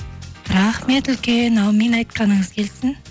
рахмет үлкен әумин айтқаныңыз келсін